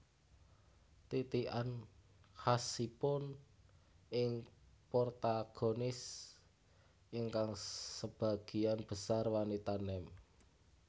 Titikan khasipun ing protagonis ingkang sebagian besar wanita nem